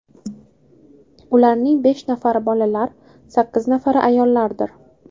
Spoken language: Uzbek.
Ularning besh nafari bolalar, sakkiz nafari ayollardir.